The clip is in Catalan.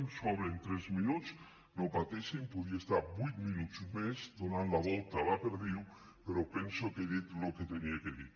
em sobren tres minuts no hi pateixin podria estar ne vuit més donant la volta a la perdiu però penso que he dit el que havia de dir